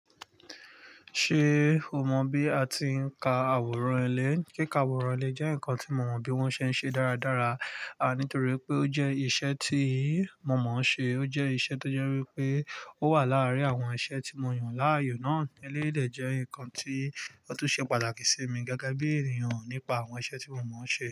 Ṣé oma bí atin ka àwòrán ilé. Kíka àwòrán ilé jẹ́ nkan tí mo mo bí wọ́n ṣe ń ṣe dáradára nítòwípé ó jẹ́ iṣẹ́ tí mo mo ṣe. O jẹ́ iṣẹ́ tó jẹ́ wípé ó wà láàrin àwọn iṣẹ́ tí mo yàn láàyò náà. Eléyi dè jẹ́ nǹkan tí tó tún ṣe pàtàkì sí mi gẹ́gẹ́ bí ènìyàn nípa àwọn iṣẹ́ tí mo mọ̀ ṣe.